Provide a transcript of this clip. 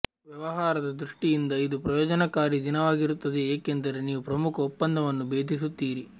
ವ್ಯವಹಾರದ ದೃಷ್ಟಿಯಿಂದ ಇದು ಪ್ರಯೋಜನಕಾರಿ ದಿನವಾಗಿರುತ್ತದೆ ಏಕೆಂದರೆ ನೀವು ಪ್ರಮುಖ ಒಪ್ಪಂದವನ್ನು ಬೇಧಿಸುತ್ತೀರಿ